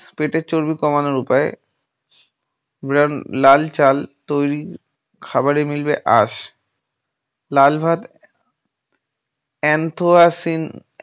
পেটের চর্বি কমানোর উপায় । brown লাল চাল তৈরি খাবারে মিলিয়ে আস। লাল ভাত anthrocyanin